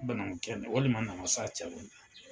Banankun kɛnɛ walima namasa cɛ